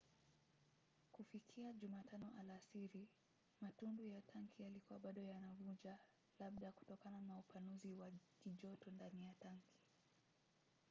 kufikia jumatano alasiri matundu ya tanki yalikuwa bado yanavuja labda kutokana na upanuzi wa kijoto ndani ya tanki